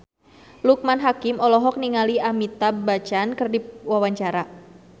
Loekman Hakim olohok ningali Amitabh Bachchan keur diwawancara